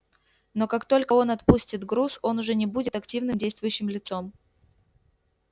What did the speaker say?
но как только он отпустит груз он уже не будет активным действующим лицом